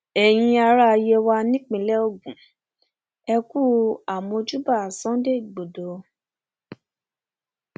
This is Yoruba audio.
ẹyin ará yewa nípínlẹ ogun ẹ kú àmọjúbà sunday igbodò